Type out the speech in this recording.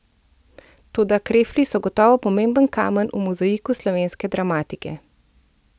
Toda Krefli so gotovo pomemben kamen v mozaiku slovenske dramatike.